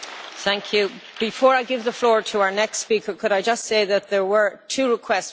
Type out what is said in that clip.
Before I give the floor to our next speaker, could I just say that there were two requests for blue cards.